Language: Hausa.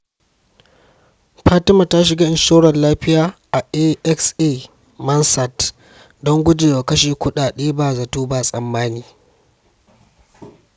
Fatima ta shiga inshorar lafiya a AXA Mansard don gujewa kashe kudade ba zato ba tsammani.